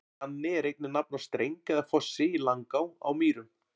Glanni er einnig nafn á streng eða fossi í Langá á Mýrum.